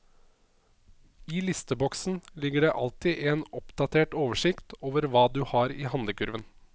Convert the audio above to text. I listeboksen ligger det alltid en oppdatert oversikt over hva du har i handlekurven.